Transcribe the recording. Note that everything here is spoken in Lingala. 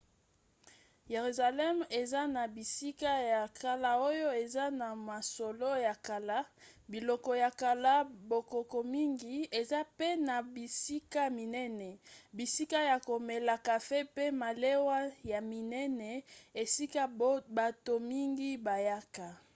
yeruzalemi eza na bisika ya kala oyo eza na masolo ya kala biloko ya kala bokoko mingi eza mpe na bisika minene bisika ya komela kafe mpe malewa ya minene esika bato mingi bayaka